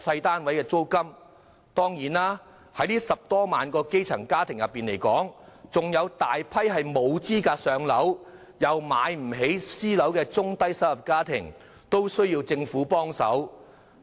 當然，在這10多萬個基層家庭中，還有大批沒有資格"上樓"，但又買不起私樓的中低收入家庭，也需政府協助。